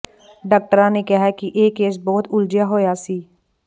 ਡਾਕਟਰਾਂ ਨੇ ਕਿਹਾ ਕਿ ਇਹ ਕੇਸ ਬਹੁਤ ਉਲਝਿਆ ਹੋਇਆ ਸੀ